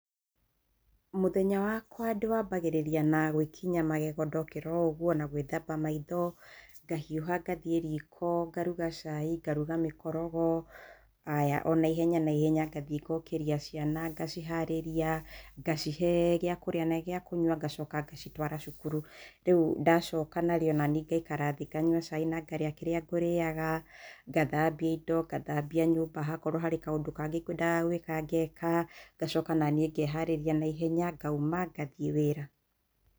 Mũthenya wakwa ndĩwambagĩrĩria na gwĩkinya magego ndokĩra o ũguo, na gwĩthamba maitho, ngahiũha ngathiĩ riko, ngaruga cai, ngaruga mĩkorogo, haya o naihenya naihenya ngathiĩ ngokĩria ciana, ngaciharĩria, ngacihe gĩa kũrĩa na gĩa kũnyua, ngacoka ngacitwara cukuru. Rĩu ndacoka rĩu naniĩ ngaikara thĩ, nganyua cai na ngarĩa kĩrĩa ngũrĩaga, ngathambia indo, ngathambia nyũmba, hangĩkorwo harĩ kaũndũ kangĩ ngwendaga gũĩka ngeka, ngacoka naniĩ ngeharĩria naihenya ngauma ngathiĩ wĩra.